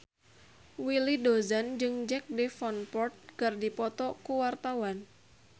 Willy Dozan jeung Jack Davenport keur dipoto ku wartawan